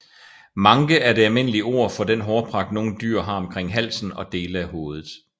Manke er det almindelige ord fo den hårpragt nogle dyr har omkring halsen og dele af hovedet